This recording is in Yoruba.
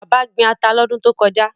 Bàbá gbin ata lọ́dún tó kọjá.